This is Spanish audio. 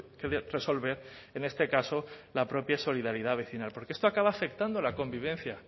que resolver en este caso la propia solidaridad vecinal porque esto acaba afectando a la convivencia